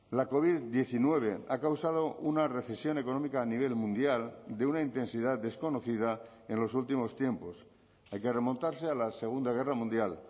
la covid diecinueve ha causado una recesión económica a nivel mundial de una intensidad desconocida en los últimos tiempos hay que remontarse a la segunda guerra mundial